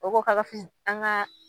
O ko ka fiz an ka.